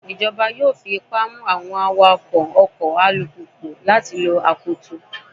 Ìjọba yóò fi ipá mú àwọn awakọ́ ọkọ̀ alùpùpù láti lo akoto.